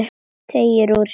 Teygir úr sér.